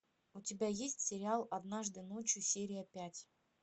у тебя есть сериал однажды ночью серия пять